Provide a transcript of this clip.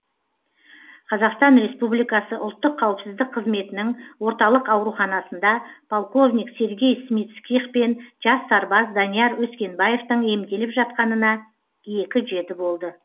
қазақстан республикасы ұлттық қауіпсіздік қызметінің орталық ауруханасында полковник сергей смицких пен жас сарбаз данияр өскенбаевтың емделіп жатқанына екі жеті болды